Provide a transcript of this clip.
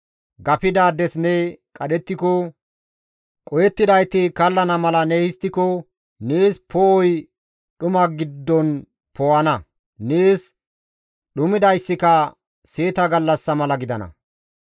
gafidaades ne qadhettiko, qohettidayti kallana mala ne histtiko nees poo7oy dhuma giddon poo7ana; nees dhumidayssika seeta gallassa mala gidana.